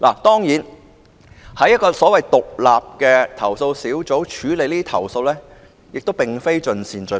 當然，在一個獨立的投訴小組處理這些投訴，未必可做到盡善盡美。